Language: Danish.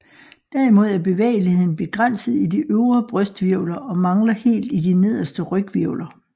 Derimod er bevægeligheden begrænset i de øvre brysthvirvler og mangler helt i de nederste ryghvirvler